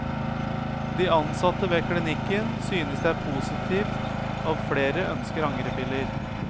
De ansatte ved klinikken synes det er positivt av flere ønsker angrepiller.